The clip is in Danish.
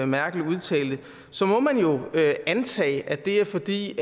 merkel udtalte så må man jo antage at det er fordi